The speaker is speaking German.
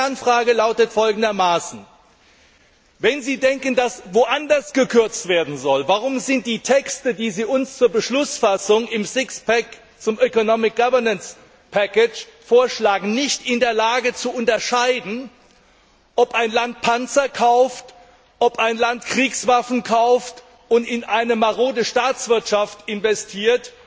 Und meine Kernfrage lautet folgendermaßen Wenn Sie denken, dass woanders gekürzt werden soll, warum wird dann in den Texten, die Sie uns zur Beschlussfassung im Sixpack zur Economic Governance vorschlagen, nicht unterschieden, ob ein Land Panzer kauft, ob ein Land Kriegswaffen kauft und in eine marode Staatswirtschaft investiert,